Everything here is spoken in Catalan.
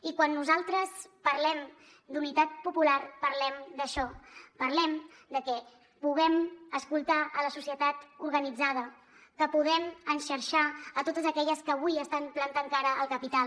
i quan nosaltres parlem d’unitat popular parlem d’això parlem de que puguem escoltar la societat organitzada que puguem enxarxar totes aquelles que avui estan plantant cara al capital